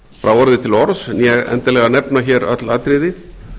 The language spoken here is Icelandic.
frá orði til orðs né endilega nefna hér öll atriði